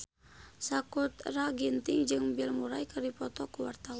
Sakutra Ginting jeung Bill Murray keur dipoto ku wartawan